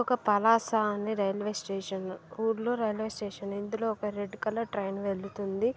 ఒక పలాస అనే railway station ఊర్లో రైల్వే స్టేషన్ ఇందులో ఒక రెడ్ కలర్ ట్రైన్ వెళుతుంది.